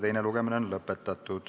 Teine lugemine on lõpetatud.